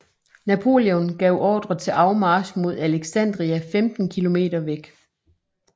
Napoleon gav ordre til afmarch mod Alexandria 15 km væk